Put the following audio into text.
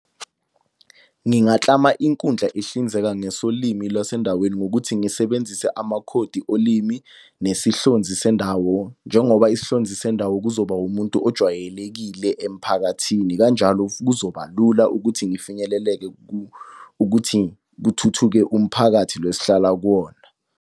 Ngingaklama inkundla ehlinzeka ngesolimi lwasendaweni ngokuthi ngisebenzise amakhodi olimi nesihlonzi sendawo. Njengoba isihlonzi sendawo kuzoba umuntu ojwayelekile emphakathini. Kanjalo kuzoba lula ukuthi ngifinyeleleke ukuthi kuthuthuke umphakathi lo esihlala kuwona.